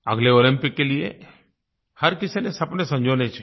अगले ओलम्पिक के लिए हर किसी को सपने संजोने चाहिए